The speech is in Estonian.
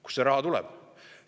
Kust see raha tuleb?